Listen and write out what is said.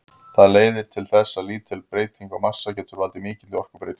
Það leiðir til þess að lítil breyting á massa getur valdið mikilli orkubreytingu.